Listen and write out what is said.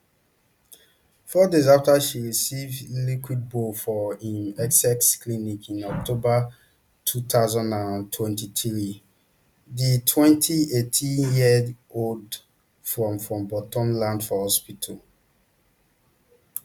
four days afta she receive liquid bbl for im essex clinic in october two thousand and twenty-three di twenty-eightyearold from from bolton land for hospital